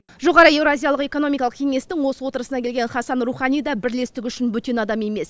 жоғары еуразиялық экономикалық кеңестің осы отырысына келген хасан рухани да бірлестік үшін бөтен адам емес